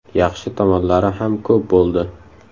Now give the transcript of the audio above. Yaxshi tomonlari ham ko‘p bo‘ldi.